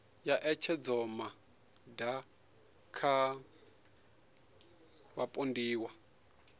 ya ṋetshedzomaa ṋda kha vhapondiwa